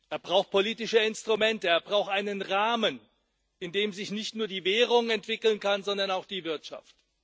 Er braucht politische Instrumente, er braucht einen Rahmen, in dem sich nicht nur die Währung entwickeln kann, sondern auch die Wirtschaft.